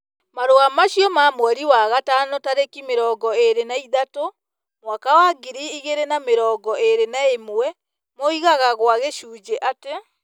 Marũa macio ma mweri wa gatano tarĩki mĩrongo ĩrĩ na ithathatũ, mwaka wa ngiri igĩrĩ na mĩrongo ĩrĩ na ĩmwe moigaga gwa gĩcunjĩ atĩ ,